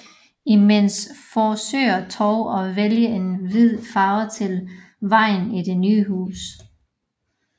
Imens forsøger Tove at vælge en hvid farve til væggene i det nye hus